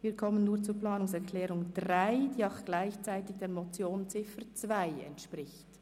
Wir kommen nun zur Planungserklärung 3, welche der Ziffer 2 der Motion Jost entspricht.